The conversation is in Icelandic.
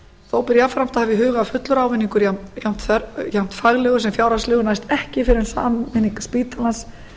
þó ber jafnframt að hafa í huga að fullur ávinningur jafnt faglegur sem fjárhagslegur næst ekki fyrr en sameining spítalans